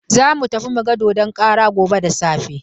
Za mu tafi mu ga dodon karan gobe da safe.